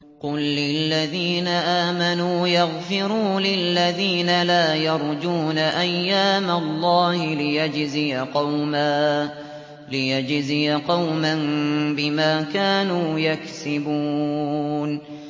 قُل لِّلَّذِينَ آمَنُوا يَغْفِرُوا لِلَّذِينَ لَا يَرْجُونَ أَيَّامَ اللَّهِ لِيَجْزِيَ قَوْمًا بِمَا كَانُوا يَكْسِبُونَ